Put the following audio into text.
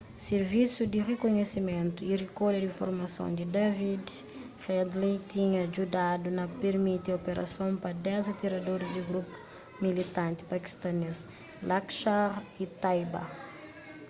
sirvisu di rikunhisimentu y rikolha di informason di david headley tinha djudadu na pirmiti operason pa 10 atiradoris di grupu militanti pakistanês laskhar-e-taiba